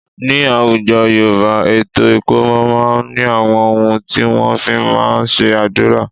Ní àwùjọ Yorùbá, ètò ikomo máa ń ní àwọn ohun tí wọ́n fí máa ń ṣe àdúrà.